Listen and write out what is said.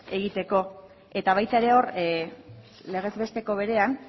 egiteko eta baita ere hor legez besteko berean